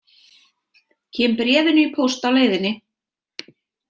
Kem bréfinu í póst á leiðinni.